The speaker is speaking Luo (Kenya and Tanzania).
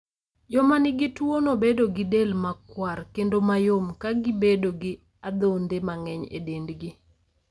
Joma nigi tuwono bedo gi del makwar kendo mayom, ka gibedo gi adhonde mang'eny e dendgi.